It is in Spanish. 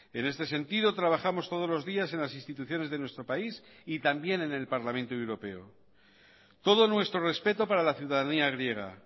en este sentido trabajamos todos los días en las instituciones de nuestro país y también en el parlamento europeo todo nuestro respeto para la ciudadanía griega